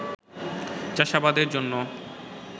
চাষাবাদের জন্য